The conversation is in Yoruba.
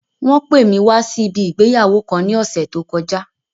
Wón pè mí wá sí ibi ìgbéyàwó kan ní ọ̀sẹ̀ tó kọjá.